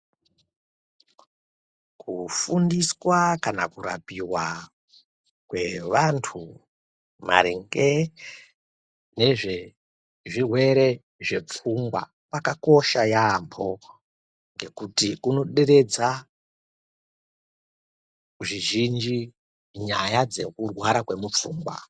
Kufundiswa kana kurapiwa kwevantu maringe nezvezvirwere zvepfungwa kwakakosha yambo nekuti kunoderedza zvizhinji nyaya dzekurwara kwepfungwa.